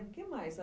O que mais?